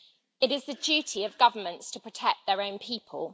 It is the duty of governments to protect their own people.